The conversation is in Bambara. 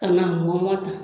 Kan'a mɔlɔ tan